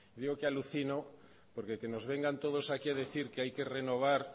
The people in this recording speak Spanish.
digo que alucino porque que nos vengan todos aquí a decir que hay que renovar